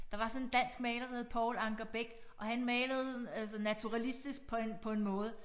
Der var sådan en dansk maler der hed Poul Anker Bech og han malede altså naturalistisk på en på en måde